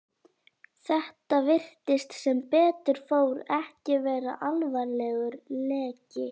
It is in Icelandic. Þetta virtist, sem betur fór, ekki vera alvarlegur leki.